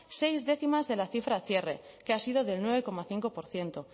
seis décimas de la cifra cierre que ha sido del nueve coma cinco por ciento